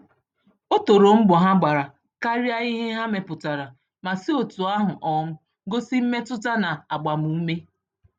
O toro mbọ ha gbàrà karịa ihe ha mepụtara, ma si otú ahụ um gosi mmetụta na agbam-ume